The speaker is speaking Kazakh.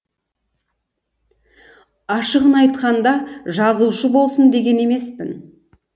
ашығын айтқанда жазушы болсын деген емеспін